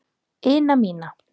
ina mína.